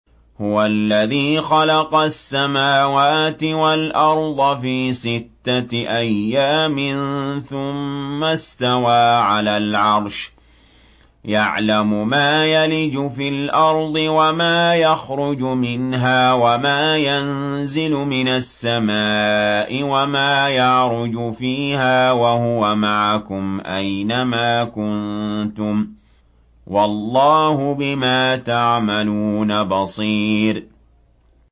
هُوَ الَّذِي خَلَقَ السَّمَاوَاتِ وَالْأَرْضَ فِي سِتَّةِ أَيَّامٍ ثُمَّ اسْتَوَىٰ عَلَى الْعَرْشِ ۚ يَعْلَمُ مَا يَلِجُ فِي الْأَرْضِ وَمَا يَخْرُجُ مِنْهَا وَمَا يَنزِلُ مِنَ السَّمَاءِ وَمَا يَعْرُجُ فِيهَا ۖ وَهُوَ مَعَكُمْ أَيْنَ مَا كُنتُمْ ۚ وَاللَّهُ بِمَا تَعْمَلُونَ بَصِيرٌ